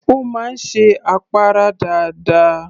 Ó máa ń ṣe àpárá dáadáa